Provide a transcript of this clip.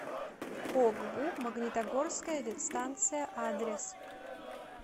огбу магнитогорская ветстанция адрес